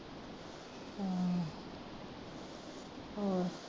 ਹੋਰ